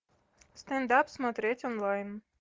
стендап смотреть онлайн